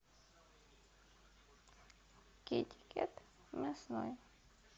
китикет мясной